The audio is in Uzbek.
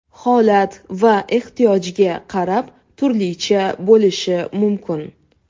Holat va ehtiyojga qarab turlicha bo‘lishi mumkin.